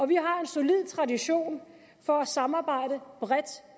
vi har en solid tradition for at samarbejde bredt